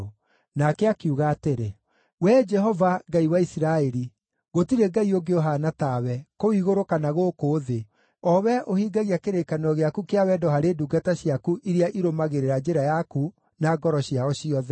Nake akiuga atĩrĩ: “Wee Jehova, Ngai wa Isiraeli, gũtirĩ Ngai ũngĩ ũhaana tawe, kũu igũrũ kana gũkũ thĩ, o Wee ũhingagia kĩrĩkanĩro gĩaku kĩa wendo harĩ ndungata ciaku iria irũmagĩrĩra njĩra yaku na ngoro ciao ciothe.